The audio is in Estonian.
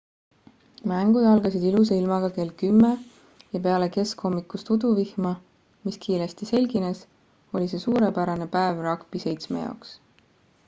mängud algasid ilusa ilmaga kell 10:00 ja peale keskhommikust uduvihma mis kiiresti selgines oli see suurepärane päev ragbi-7 jaoks